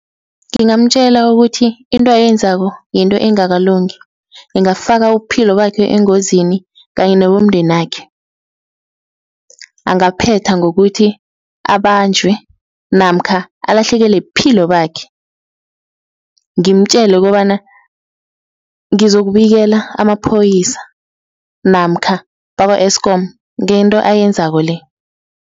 Ngingamtjela ukuthi into ayenzako yinto engakalungi, ingafaka ubuphilo bakhe engozini kanye nebomndenakhe, angaphetha ngokuthi abanjwe namkha alahlekelwe buphilo bakhe, ngimtjele ukobana ngizokubikela amapholisa namkha bakwa-Eskom ngento ayenzako-le.